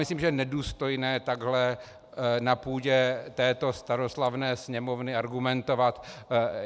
Myslím, že je nedůstojné takhle na půdě této staroslavné Sněmovny argumentovat.